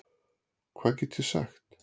Hvað get ég sagt?